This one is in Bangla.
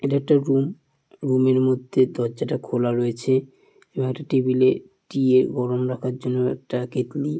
এটা একটি রুম রুম -এর মধ্যে দর্জাটা খোলা রয়েছে এবং একটা টেবিল -এ টিয়ে গরম রাখার জন্য একটা কেটলি--